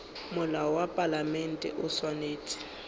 molao wa palamente o swanetše